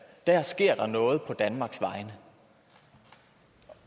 der sker der noget på danmarks vegne